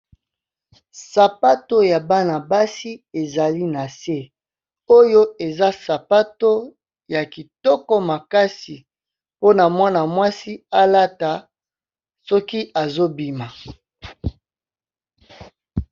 Sapato ya bana-basi ezali na se oyo eza sapato ya kitoko makasi, mpona mwana mwasi alata soki azo bima.